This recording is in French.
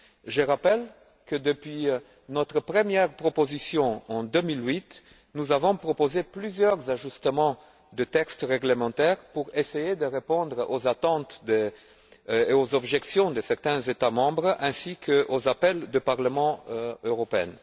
Je rappelle que, depuis notre première proposition en 2008, nous avons proposé plusieurs ajustements au texte réglementaire pour essayer de répondre aux attentes et aux objections de certains États membres ainsi qu'aux appels du Parlement européen.